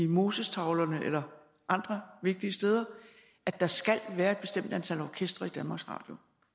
mosestavlerne eller andre vigtige steder at der skal være et bestemt antal orkestre i danmarks radio